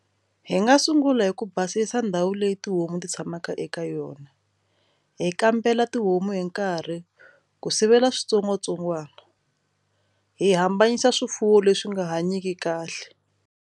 Hi nga sungula hi ku basisa ndhawu leyi tihomu ti tshamaka eka yona hi kambela tihomu hi nkarhi ku sivela switsongwatsongwana hi hambanyisa swifuwo leswi nga hanyiki kahle.